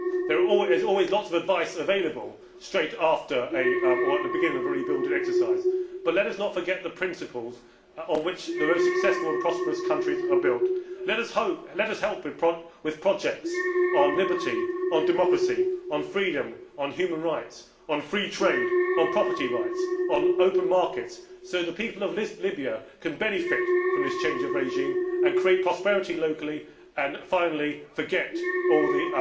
There is always lots of advice available at the beginning of a rebuilding exercise, but let us not forget the principles on which the most successful and prosperous countries are built. Let us help with projects on liberty, on democracy, on freedom, on human rights, on free trade, on property rights, on open markets so that the people of Libya can benefit from this change of regime, create prosperity locally and finally forget all the